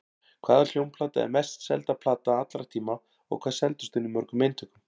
Hvaða hljómplata er mest selda plata allra tíma og hvað seldist hún í mörgum eintökum?